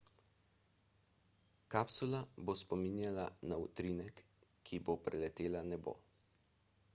kapsula bo spominjala na utrinek ko bo preletela nebo